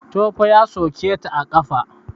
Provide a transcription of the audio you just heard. Tofa ya soke ta a ƙafa.